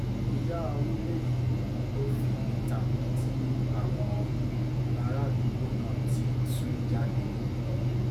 ìyá onílé yìí ló figbe ta tí àwọn bárààdúgbò náà fi tú jáde